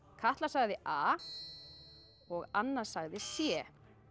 Katla sagði a og Anna sagði c